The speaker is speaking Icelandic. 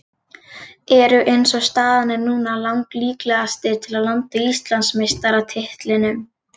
Eru eins og staðan er núna lang líklegastir til að landa Íslandsmeistaratitlinum.